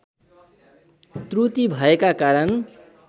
त्रुटि भएका कारण